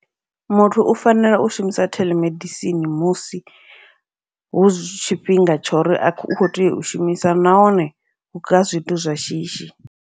Muthu u fanela u shumisa telemedicine musi hu zwi tshifhinga tshori u kho tea u shumisa, nahone hu kha zwithu zwa shishi.